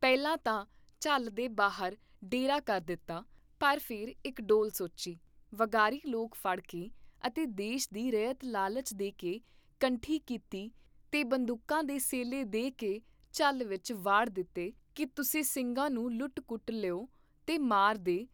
ਪਹਿਲਾਂ ਤਾਂ ਝੱਲ ਦੇ ਬਾਹਰ ਡੇਰਾ ਕਰ ਦਿੱਤਾ, ਪਰ ਫੇਰ ਇਕ ਡੌਲ ਸੋਚੀ, ਵਗਾਰੀ ਲੋਕ ਫੜ ਕੇ ਅਤੇ ਦੇਸ਼ ਦੀ ਰੱਯਤ ਲਾਲਚ ਦੇ ਕੇ ਕੰਠੀ ਕੀਤੀ ਤੇ ਬੰਦੂਕਾਂ ਤੇ ਸੇਲੇ ਦੇ ਕੇ ਝੱਲ ਵਿਚ ਵਾੜ ਦਿੱਤੇ ਕੀ ਤੁਸੀਂ ਸਿੰਘਾਂ ਨੂੰ ਲੁੱਟ ਕੁੱਟ ਲਉ ਤੇ ਮਾਰ ਦੇ